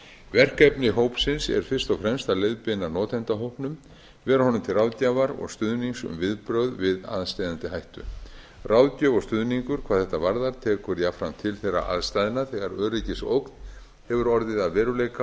verkefni hópsins er fyrst og fremst að leiðbeina notendahópnum vera honum til ráðgjafar og stuðnings um viðbrögð við aðsteðjandi hætti ráðgjöf og stuðningur hvað þetta varðar tekur jafnframt til þeirra aðstæðna þegar öryggisógn hefur orðið að veruleika